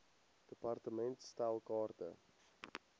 department stel kaarte